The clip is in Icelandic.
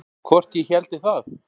Hvort ég héldi það?